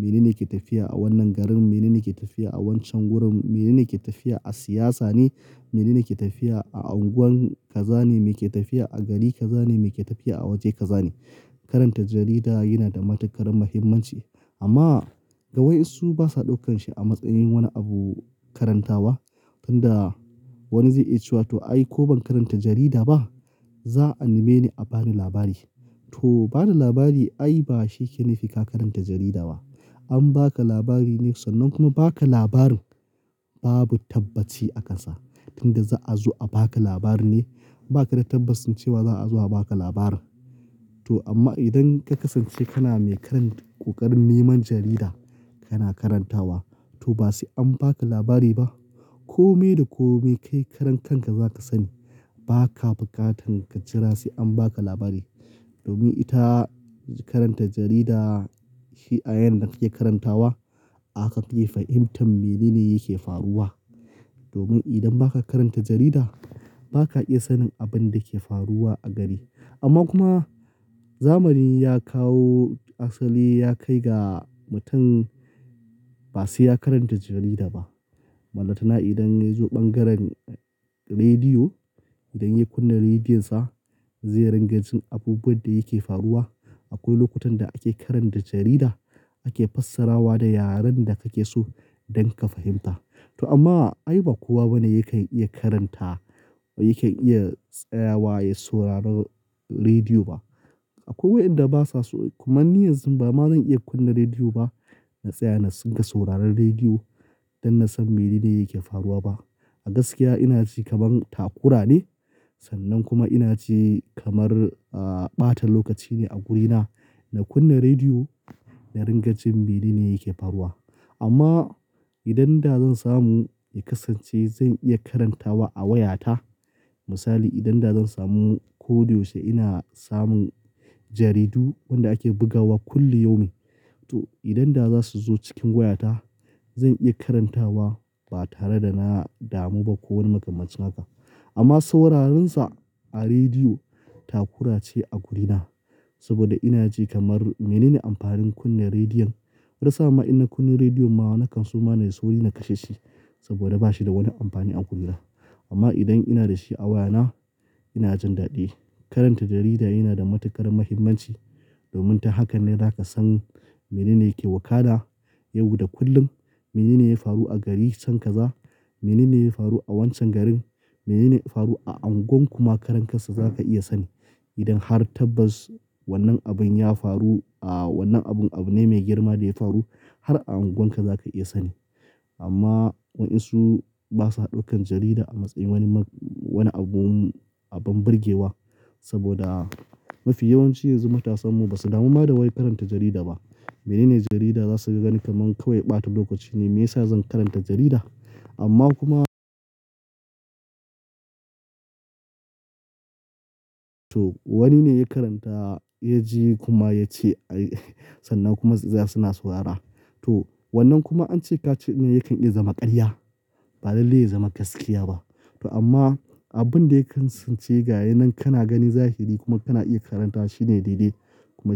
menene ke tafiya a wannan garin, menene ke tafiya a wancan wurin, menene ke tafiya a siyasa ne, menene ke tafiya a unguwan ka zane, meke tafiya a gari ka zane, meke tafiya a waje ka zane. Karanta jarida yana da matuƙar muhimmanci amma ga waɗansu basa ɗaukan shi a matsayin wani abu karantawa. Tun da wani zai iya cewa to ai ko ban karanta jarida ba za'a nime ni a bani labari. To ba da labari ai ba shi yake nufika karanta jarida ba. An baka labari ne sannan kuma baka labarin babu tabbaci akan sa. Tun da za'a zo a baka labari ne, ba ka da tabbacin cewa za'a zo a baka labarin. To amma idan ka kasance kana mai karan ƙoƙarin neman jarida kana karantawa to basi an baka labari ba. Komai da kome kai karan kanka zaka sani. Baka buƙatan ka jira sai an baka labari. Domin ita karanta jarida shi a yanar da kake karantawa haka kake fahimtar menene yake faruwa. Domin idan ba ka karanta jarida ba ka iya sanin abin da ke faruwa a gari. Amma kuma zamani ya kawo asali ya kai ga mutum ba sai ya karanta jarida ba. Mallaka idan ya zo bangaren rediyo, idan ya kunna rediyonsa zai rangarjin abubuwan da yake faruwa. Akwai lokutan da ake karanta jarida ake fassarawa da yaren da kake so don ka fahimta. To amma ai ba kowa bane yake iya karanta yake iya tsayawa ya sauraron rediyo ba. Akwai waɗanda basa so, kuma ni yanzu ba ma zan iya kunna rediyo ba na tsaya na dinga sauraron rediyo don na san menene yake faruwa ba. A gaskiya ina ji kaman takura ne sannan kuma ina ji kamar, ah, ɓata lokaci ne a wurina na kunna rediyo na ringa jin menene yake faruwa. Amma idan da zan samu in kasance zan iya karantawa a wayata, misali idan da zan samu ko yaushe ina samun jaridu wanda ake bugawa kulli yumi to idan da za su zo cikin wayata zan iya karantawa ba tare da na damu ba ko wani makamashin haka. Amma sauraron sa a rediyo takura ce a wurina saboda ina ji kamar menene amfanin kunna rediyon? Har saama ina kunna rediyo ma nakan suma da sauri na kashe shi saboda bashi da wani amfani a wurina. Amma idan ina da shi a wayana ina jin dadi. Karanta jarida yana da matuƙar muhimmanci domin ta haka ne zaka san menene yake wakana yau da kullum, menene ya faru a gari can kaza, menene ya faru a wancan garin, menene ya faru a unguwan kuma karan kansa zaka iya sani. Idan har tabbas wannan abun ya faru, ah, wannan abun abu ne mai girma da ya faru har a unguwanka zaka iya sani. Amma waɗansu basa ɗaukan jarida a matsayin wani ma, wani abun abun burgewa saboda mafi yawanci yanzu matasan mu basu damuwa da wai karanta jarida ba. Menene jarida za su ga gani kaman kawai ɓata lokaci ne me yasa zan karanta jarida? Amma kuma to wani ne ya karanta ya ji kuma ya ce ai sannan kuma za su na saurara. Akwai waɗanda basa so, kuma ni yanzu ba ma zan iya kunna rediyo ba na tsaya na dinga sauraron rediyo don na san menene yake faruwa ba. Ba ama abunda ya tsintu shine ya nan dai gana ga ne zahiri kuma kana iya karantawa shine dai-dai.